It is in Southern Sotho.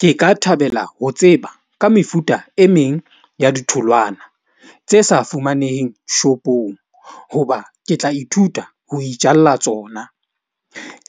Ke ka thabela ho tseba ka mefuta e meng ya ditholwana tse sa fumaneheng shop-ong. Hoba ke tla ithuta ho itjalla tsona